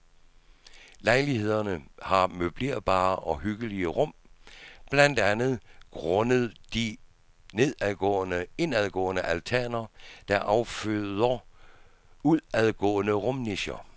Lejlighederne har møblerbare og hyggelige rum, blandt andet grundet de indadgående altaner der afføder udadgående rumnicher.